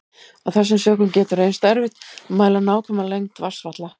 Af þessum sökum getur reynst erfitt að mæla nákvæma lengd vatnsfalla.